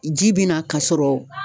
Ji bi na k'a sɔrɔ